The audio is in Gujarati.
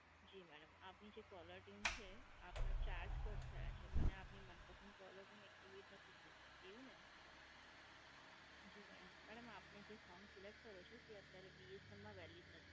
જી madam, આપની જે caller tune છે, આપના charge cut થયા છે અને આપની મનપસંદ caller tune activate નથી થઈ. એવું ને? જી madam. madam, આપને જે song select કર્યો છે, તે અત્યારે BSNL માં valid નથી.